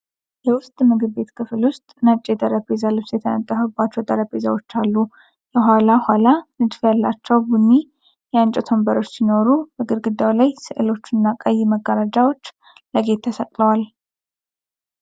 የውስጥ ምግብ ቤት ክፍል ውስጥ ነጭ የጠረጴዛ ልብስ የተነጠፈባቸው ጠረጴዛዎች አሉ። የኋላ ኋላ ንድፍ ያላቸው ቡኒ የእንጨት ወንበሮች ሲኖሩ፣ በግድግዳው ላይ ስዕሎችና ቀይ መጋረጃዎች ለጌጥ ተሰቅለዋል።